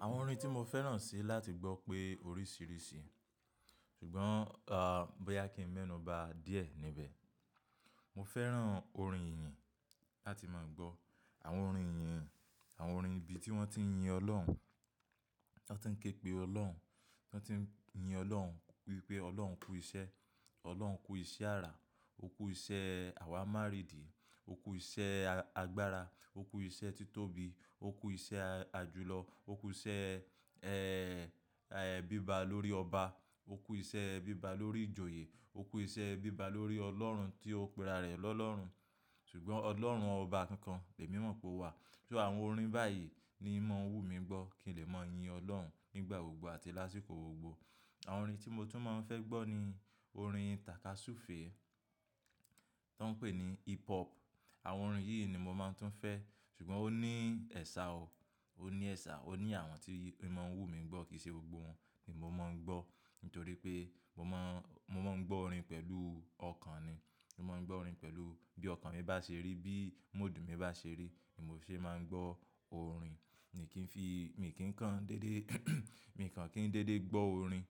Àwọn orin tí mo fẹ́ràn sí láti gbọ́ pé oríṣìíríṣìí, ṣùgbọ́n, ehm, bóyá kí n mẹ́nù ba díẹ̀ níbẹ̀. Mo fẹ́ràn orin ìyìn láti máa gbọ́. Àwọn orin ìyìn, àwọn orin ibi tí wọ́n ti ń yin Ọlọ́run, tí wọ́n ti ń képe Ọlọ́run, tí wọ́n ti ń yin Ọlọ́run, wípé Ọlọ́run kú iṣẹ́, Ọlọ́run kú iṣẹ́ ara, ó kú iṣẹ́ àwà márìdì, ó kú iṣẹ́ a-agbára, ó kú iṣẹ́ títóbi, ó kú iṣẹ́ a-àjùlọ, ó kú iṣẹ́, ẹ́ẹ́, ẹ́ẹ́ bíba lórí ọba, ó kú iṣẹ́ bíba lórí ìjòyè, ó kú iṣẹ́ bíba lórí Ọlọ́run tí ó pẹra rẹ̀ lọ́ Ọlọ́run. Ṣùgbọ́n Ọlọ́run ọba kan kan, èmi mọ̀ pé ó wà. Ṣé àwọn orin báyìí ni í mọ́ ń wù mí gbọ́ kí n lè máa yin Ọlọ́run nígbà gbogbo àti lásìkò gbogbo. Àwọn orin tí mo tún máa ń fẹ́ gbọ́ ni orin tàka súfèé tó ń pè ní hip hop. Àwọn orin yìí ni mo máa ń tún fẹ́, ṣùgbọ́n ó ní ẹ̀ṣà o, ó ní ẹ̀ṣà. Ó ní àwọn tí í ma ń wù mí gbọ́ kìí ṣe gbogbo wọn ni mo máa ń gbọ́. Nítorí pé mo máa ń, mo máa ń gbọ́ orin pẹ̀lú ọkàn ni. Mo máa ń gbọ́ orin pẹ̀lú bí ọkàn mi bá ṣe rí, bí mood mi bá ṣe rí ni mo ṣe máa ń gbọ́ orin. Ni kí ń fi, mi kì í kan dédé mi kàn kí n dédé gbọ́ orin.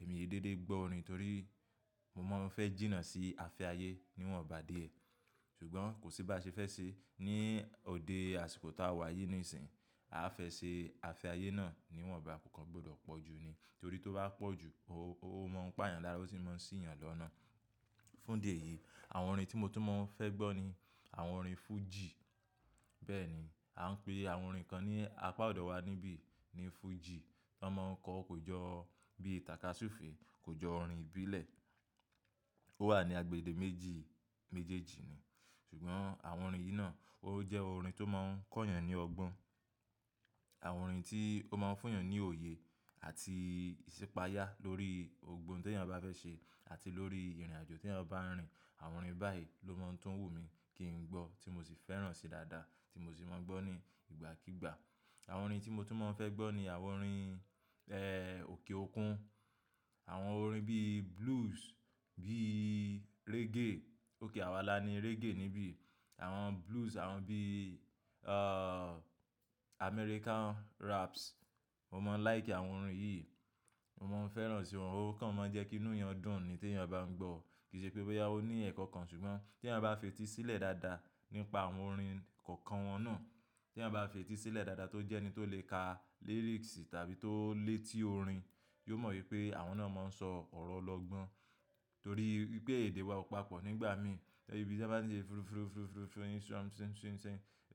Èmi ò dédé gbọ́ orin torí mo máa ń fẹ́ jìnnà sí ààfe ayé níwọ̀n bá dé. Ṣùgbọ́n kò sí bá ṣe fẹ́ ṣe ní òde àsìkò tó wà yìí nísìnyí, a fẹ ṣe ààfe ayé náà níwọ̀n bá, kò kan gbọdọ̀ pọ̀ ju ni. Nítorí tó bá pọ̀ ju, ó, ó mọ̀ ń pa èèyàn lára, ó sì máa ń ṣì yàn lọ́nà. Fún ìdí e yìí, àwọn orin tí mo tún máa ń fẹ́ gbọ́ ni àwọn orin fújì. Bẹ́ẹ̀ ni, à ń pe àwọn orin kan ní apá ọ̀dọ̀ wa níbí ní fújì. Ta máa ń kọ kò jọ bí tàka súfèé, kò jọ orin ìbílẹ̀. Ó wà ní agbègbè méjì, méjèèjì ni. Ṣùgbọ́n àwọn orin yìí náà ó jẹ́ orin tó máa ń kọ́ èèyàn ní ọgbọ́n. Àwọn orin tí ó máa ń fún èèyàn ní òye àti ìṣípayá lórí gbogbo ohun tí èèyàn bá fẹ́ ṣe àti lórí ìrìnàjò tí èèyàn bá ń rìn. Àwọn orin báyìí ló máa ń tún wù mí kí n gbọ́ tí mo sì fẹ́ràn si dada, tí mo sì máa ń gbọ́ ní ìgbàkígbà. Àwọn orin tí mo tún máa ń fẹ́ gbọ́ ni àwọn orin, ẹ́ẹ́ òkè òkun. Àwọn orin bí blues, bí reggae. Ók àwa la ni reggae níbí. Àwọn blues, àwọn bí, uh, American raps. Mo máa ń like àwọn orin yìí. Mo máa ń fẹ́ràn si wọn. Ó kan máa ń jẹ́ kí inú èèyàn dùn ni tí èèyàn bá ń gbọ́. Kì í ṣe pé bóyá ó ní ẹ̀kọ́ kan ṣùgbọ́n tí èèyàn bá fetí sílẹ̀ dáadáa nípa àwọn orin kọ̀ọ̀kan wọn náà, tí èèyàn bá fetí sílẹ̀ dáadáa tó jẹ́ ẹni tó lè ka lyrics tàbí tó lè tí orin, yóò mọ̀ wípé àwọn náà máa ń sọ ọ̀rọ̀ ọlọ́gbọ́n. Torí pé èdè wa ò papọ̀ nígbà mí. Ibí tí a bá ń ṣe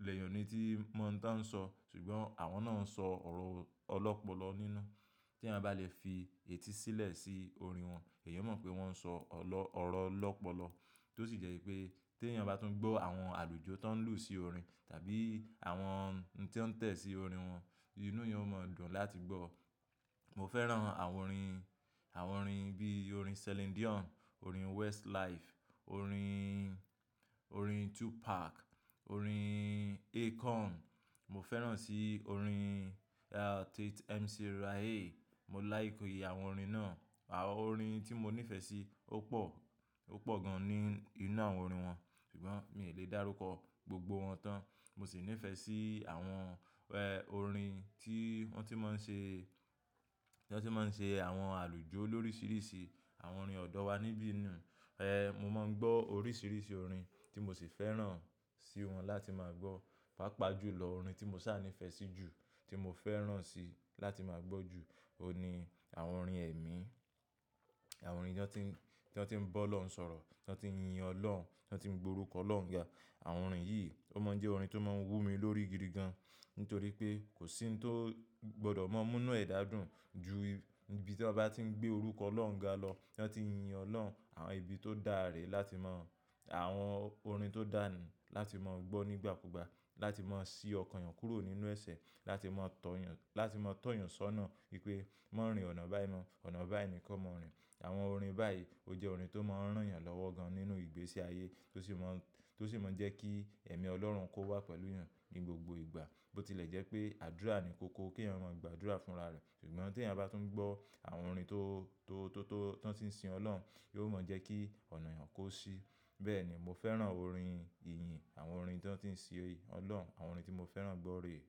ilẹ̀ èèyàn ni tí mọ̀ nítán sọ. Ṣùgbọ́n àwọn náà ń sọ ọ̀rọ̀ ọlọ́pọlọ nínú. Tí èèyàn bá lè fi etí sílẹ̀ sí orin wọn, èèyàn ó mọ̀ pé wọ́n ń sọ ọ̀lọ́, ọ̀rọ̀ ọlọ́pọlọ. Tó sì jẹ́ wípé tí èèyàn bá tún gbọ́ àwọn àlùjọ tó ń lù sí orin tàbí àwọn ohun tí ó ń tẹ̀ sí orin wọn, inú èèyàn ó máa dùn láti gbọ́. Mo fẹ́ràn àwọn orin, àwọn orin bí orin Celine Dion, orin Westlife, orin, orin Tupac, orin Akon. Mo fẹ́ràn sí orin, uh, tí MC Rae. Mo like àwọn orin náà. Àwọn orin tí mo níìfẹ̀ sí ó pọ̀, ó pọ̀ gan ní inú àwọn orin wọn. Ṣùgbọ́n mi ò lè dárúkọ gbogbo wọn tán. Mo sì níìfẹ̀ sí àwọn, ẹ́ẹ́ orin tí wọ́n ti máa ń ṣe, tí wọ́n ti máa ń ṣe àwọn àlùjọ lóríṣìíríṣìí. Àwọn orin ọ̀dọ̀ wa níbí nu. Ẹ́ẹ́ mo máa ń gbọ́ oríṣìíríṣìí orin tí mo sì fẹ́ràn si wọn láti máa gbọ́. Pápá jù lọ orin tí mo ṣànífẹ́ sí jù, tí mo fẹ́ràn si láti máa gbọ́ jù, ó ní àwọn orin ẹ̀mí. Àwọn orin tí wọ́n ti ń, tí wọ́n ti ń bọ́ Ọlọ́run sọ̀rọ̀, tí wọ́n ti ń yin Ọlọ́run, tí wọ́n ti ń gborúkọ Ọlọ́run ga. Àwọn orin yìí, ó máa ń jẹ́ orin tó máa ń wù mí lórí gidi gan. Nítorí pé kò sí ohun tó gbọdọ̀ máa mú inú ẹ̀dà dùn ju ibi tí a bá ti ń gbé orúkọ Ọlọ́run ga lọ, tí wọ́n ti ń yin Ọlọ́run. Àwọn ibi tó dáre láti mọ̀, àwọn orin tó dánì láti mọ̀ gbọ́ nígbàkúgbà, láti máa ṣí ọkàn èèyàn kúrò nínú ẹsẹ̀, láti máa tọ̀ èèyàn, láti máa tọ̀ èèyàn sọ́nà wípé má rìn ọ̀nà báyìí mọ́, ọ̀nà báyìí nìkan mo ń rìn. Àwọn orin báyìí ó jẹ́ orin tó máa ń rán èèyàn lọ́wọ́ gan nínú ìgbésí ayé tó sì mọ́, tó sì mọ́ jẹ́ kí ẹ̀mí Ọlọ́run kó wà pẹ̀lú èèyàn ní gbogbo ìgbà. Ó ti lè jẹ́ pé àdúrà ni kókó kí èèyàn máa gbàdúrà fún ara rẹ̀. Ṣùgbọ́n tí èèyàn bá tún gbọ́ àwọn orin tó, tó, tó, tó ti ń sin Ọlọ́run, yóò mọ́ jẹ́ kí ọ̀nà èèyàn kó ṣí. Bẹ́ẹ̀ ni, mo fẹ́ràn orin ìyìn, àwọn orin tí wọ́n ti ń sin Ọlọ́run, àwọn orin tí mo fẹ́ràn gbọ́ rè é.